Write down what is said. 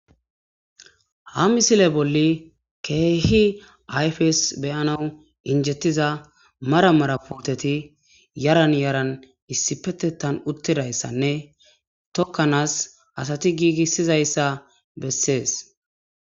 ha misile bolli keehi ayfes beyanaw injettiza mara marapooteti yaran yaran issi petettan uttidayssanne tokkanaas asati giigissizayssa bessees.